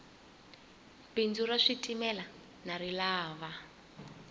bindzu ra switimela ndza rilava